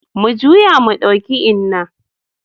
Mu juyo mu ɗauki Inna.